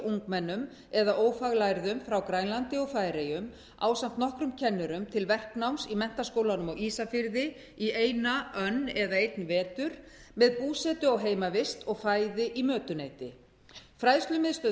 ungmennum eða ófaglærðum frá grænlandi og færeyjum ásamt nokkrum kennurum til verknáms í menntaskólanum á ísafirði í eina önn einn vetur með búsetu á heimavist og fæði í mötuneyti fræðslumiðstöð